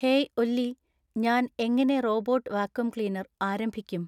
Hey Ollie ഞാൻ എങ്ങനെ robot vacuum cleaner ആരംഭിക്കും.